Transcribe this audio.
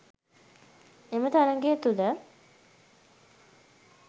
එම තරගය තුළ